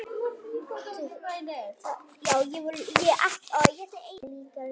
Það fyllir mig líka reiði.